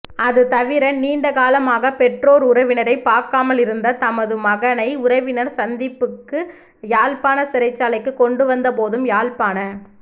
அதுதவிர நீண்டகாலமாக பெற்றோர் உறவினரை பாக்காமல் இருந்த தமது மகனை உறவினர் சந்திப்புக்க யாழ்ப்பாண சிறைசாலைக்கு கொண்டுவந்த போதும் யாழ்ப்பாண